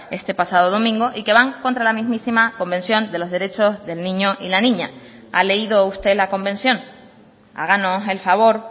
este pasado domingo y que van contra la mismísima convención de los derechos del niño y la niña ha leído usted la convención háganos el favor